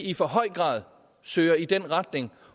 i for høj grad søger i den retning